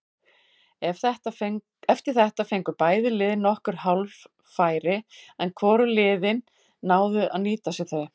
Eftir þetta fengu bæði lið nokkur hálffæri en hvorug liðin náðu að nýta sér þau.